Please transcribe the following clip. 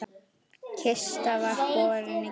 Kista var borin í kirkju.